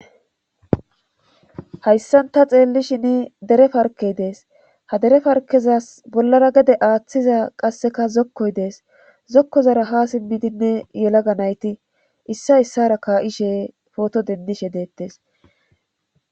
hayssan ta xeellishin dere parkey dees ha dere parkezas bollara gede aaththiza qasseka zokkoy dees zokko zara ha sinbidinne yelaga nayti issa issara kaa7ishe pooto dendishe deettes